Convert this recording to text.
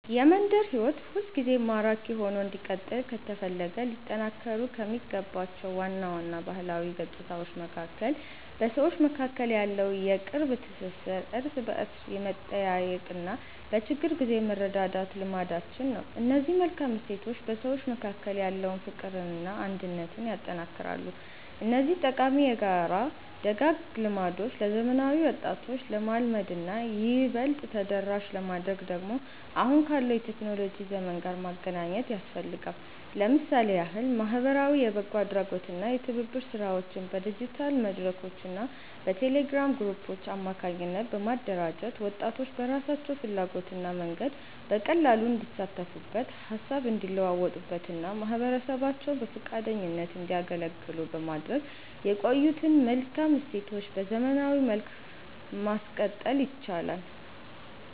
የመንደር ሕይወት ሁልጊዜም ማራኪ ሆኖ እንዲቀጥል ከተፈለገ ሊጠናከሩ ከሚገባቸው ዋና ዋና ባህላዊ ገጽታዎች መካከል በሰዎች መካከል ያለው የቅርብ ትሥሥር፣ እርስ በርስ የመጠያየቅና በችግር ጊዜ የመረዳዳት ልማዳችን ነው። እነዚህ መልካም እሴቶች በሰዎች መካከል ያለውን ፍቅርና አንድነት ያጠነክራሉ። እነዚህን ጠቃሚ የጋራ ደጋግ ልማዶች ለዘመናዊ ወጣቶች ለማልመድና ይበልጥ ተደራሽ ለማድረግ ደግሞ አሁን ካለው የቴክኖሎጂ ዘመን ጋር ማገናኘት ያስፈልጋል። ለምሳሌ ያህል ማኅበራዊ የበጎ አድራጎትና የትብብር ሥራዎችን በዲጂታል መድረኮችና በቴሌግራም ግሩፖች አማካኝነት በማደራጀት፣ ወጣቶች በራሳቸው ፍላጎትና መንገድ በቀላሉ እንዲሳተፉበት፣ ሃሳብ እንዲለዋወጡበትና ማኅበረሰባቸውን በፈቃደኝነት እንዲያገለግሉ በማድረግ የቆዩትን መልካም እሴቶች በዘመናዊ መልክ ማቀጠል ይቻላል።